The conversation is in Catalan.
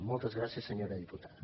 moltes gràcies senyora diputada